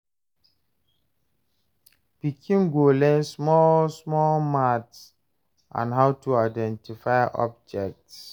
Pikin go learn small small maths and how to identify objects